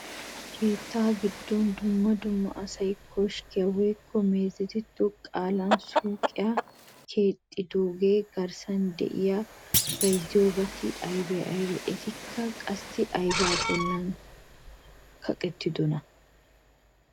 Keettaa giddon dumma dumma asay koskkiya woykko meezetido qaalan suuqiya keexxidoogaa garssan de'iya bayzziyobati aybee aybee? Etikka qassi aybaa bollan kaqettidonaa?